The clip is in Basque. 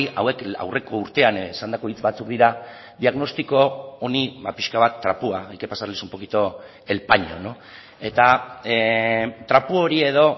hauek aurreko urtean esandako hitz batzuk dira diagnostiko honi pixka bat trapua hay que pasarles un poquito el paño eta trapu hori edo